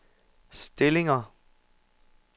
stillinger